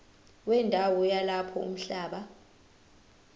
wendawo yalapho umhlaba